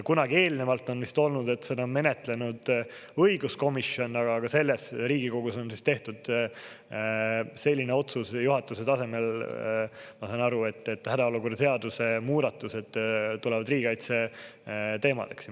Kunagi eelnevalt on vist olnud, et seda on menetlenud põhiseaduskomisjon, aga selles Riigikogus on tehtud selline otsus juhatuse tasemel, ma saan aru, et hädaolukorra seaduse muudatused tulevad riigikaitse teemal.